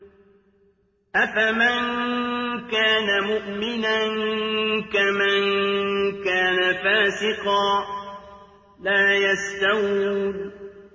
أَفَمَن كَانَ مُؤْمِنًا كَمَن كَانَ فَاسِقًا ۚ لَّا يَسْتَوُونَ